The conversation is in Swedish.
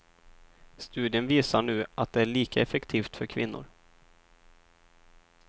Studien visar nu att det är lika effektivt för kvinnor.